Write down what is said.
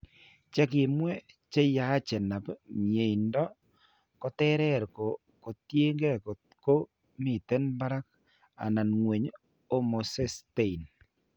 Che kimwee che yachenap miendo koterer ko tiyekeey kot ko miten parak anan ng'weny homocysteine.